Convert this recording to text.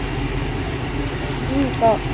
উম ক